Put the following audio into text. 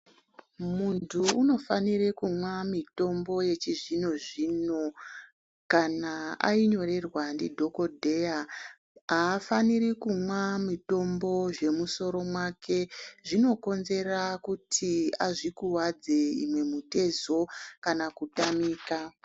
Muntu unofanire kumwa mutombo wechizvino zvino kana ainyorerwa ndidhokodheya haafanira kumwa mutombo zvemusoro make zvinokonzera kuti azvikuvadze imwe mitezo kana kutamika .